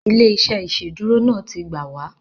Ilé-iṣẹ́ iṣeduro náà tí gbáà wa